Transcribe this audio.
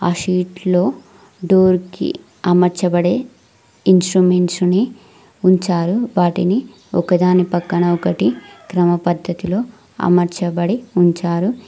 ఆ షీట్లో డోర్ కి అమర్చబడే ఇన్స్ట్రుమెంట్స్ ని ఉంచారు వాటిని ఒకదాని పక్కన ఒకటి క్రమ పద్ధతిలో అమర్చబడి ఉంచారు.